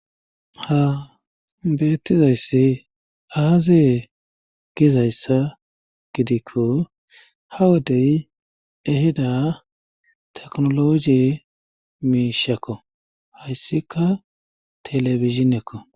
Ha beettizayssi aazee gizayssa gidikko ha wodey eheda teknologi miishakko hayssika telefizhiekko